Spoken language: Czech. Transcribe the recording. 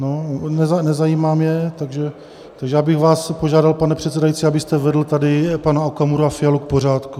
No, nezajímám je, takže já bych vás požádal, pane předsedající, abyste vedl tady pana Okamuru a Fialu k pořádku.